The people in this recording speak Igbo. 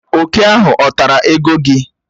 Òkè ahụ ọ̀ tara ego gị?